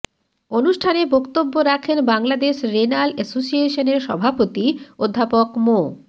অনুষ্ঠানে বক্তব্য রাখেন বাংলাদেশ রেনাল এসোসিয়েশনের সভাপতি অধ্যাপক মো